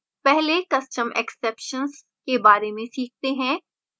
पहले custom exceptions के बारे में सीखते हैं